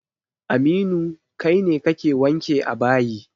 Aminu, kai ne kake wanke a bayi.